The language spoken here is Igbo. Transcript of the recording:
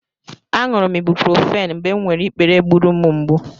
Aṅụrụ m ibuprofen mgbe m nwere ikpere gburu m mgbù.